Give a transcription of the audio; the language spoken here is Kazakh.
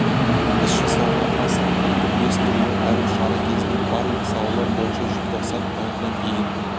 іс жасауға асық атты бес түрлі айлық шара кезінде барлық салалар бойынша желтоқсан айына дейін